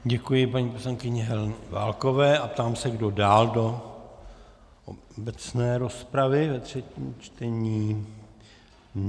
Děkuji paní poslankyni Heleně Válkové a ptám se, kdo dál do obecné rozpravy ve třetím čtení.